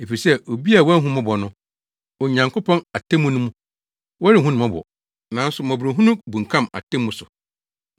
Efisɛ obi a wanhu mmɔbɔ no, Onyankopɔn atemmu mu no, wɔrenhu no mmɔbɔ. Nanso mmɔborɔhunu bunkam atemmu so.